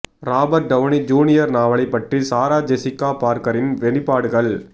Robert Downey Junior நாவலைப் பற்றி Sarah Jessica பார்கரின் வெளிப்பாடுகள்